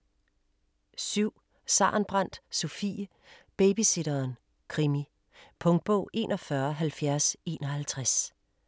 7. Sarenbrant, Sofie: Babysitteren: krimi Punktbog 417051